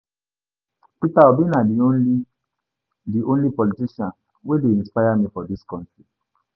Peter Obi na di only di only politician wey dey inspire me for dis country.